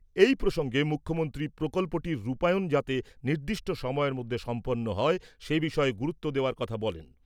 এ প্রসঙ্গে মুখ্যমন্ত্রী প্রকল্পটির রূপায়ণ যাতে নির্দিষ্ট সময়ের মধ্যে সম্পন্ন হয় সে বিষয়েও গুরুত্ব দেওয়ার কথা বলেন ।